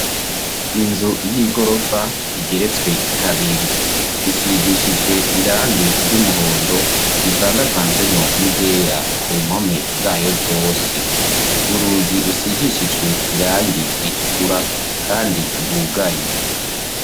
Inzu y'i gorofa igeretswe kabiri risigishijwe irangi ry'umuhondo rivangavanzwemwo n'igera ku mpome zayo zose urugi rusigishijwe irangi ritukura, kandi rwugaye.